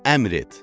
əmr et,